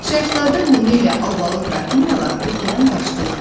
Şahzadə Lumi ilə Albalı Qrafinyalar ölkədən qaçdılar.